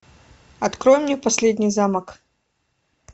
открой мне последний замок